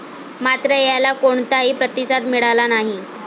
मात्र, याला कोणताही प्रतिसाद मिळाला नाही.